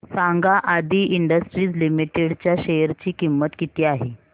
सांगा Aadi industries limited च्या share ची किंमत किती आहे